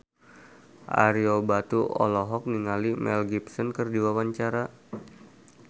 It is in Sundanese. Ario Batu olohok ningali Mel Gibson keur diwawancara